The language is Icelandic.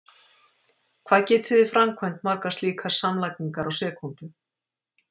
Hvað getið þið framkvæmt margar slíkar samlagningar á sekúndu?!